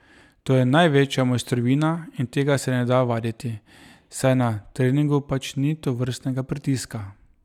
To je največja mojstrovina in tega se ne da vaditi, saj na treningu pač ni tovrstnega pritiska.